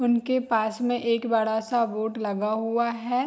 उनके पास में एक बड़ा-सा बोर्ड लगा हुआ है।